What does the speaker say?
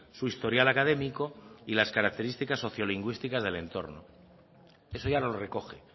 su historial académico y las características sociolingüísticas del entorno eso ya lo recoge